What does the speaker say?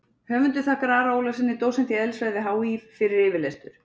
Höfundur þakkar Ara Ólafssyni, dósent í eðlisfræði við HÍ, fyrir yfirlestur.